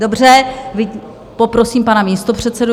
Dobře, poprosím pana místopředsedu.